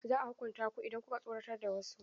Za a hukunta ku idan ku ka tsoratar da wasu.